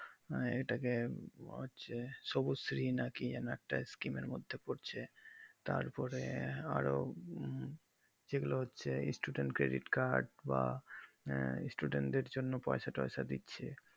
এটাকে সবুজ শ্রী না কি এমন একটা screen এর মধ্যে পড়ছে তারপরে আরও যেগুলো হচ্ছে student credit card বা student এর জন্য পয়সা ত্বয়্সা দিচ্ছে